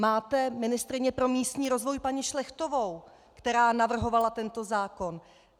Máte ministryni pro místní rozvoj paní Šlechtovou, která navrhovala tento zákon.